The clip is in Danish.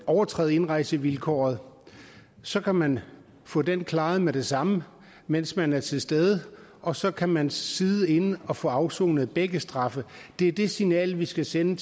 overtræde indrejsevilkåret så kan man få den klaret med det samme mens man er til stede og så kan man sidde inde og får afsonet begge straffe det er det signal vi skal sende